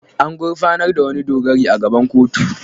An gurfanar da wani dogari a gaban kotu.